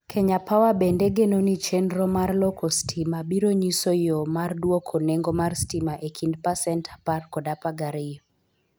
Kenya Power bende geno ni chenro mar loko stima biro nyiso yo mar dwoko nengo mar stima e kind pasent 10 kod 12.